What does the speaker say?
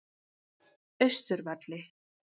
Austurvelli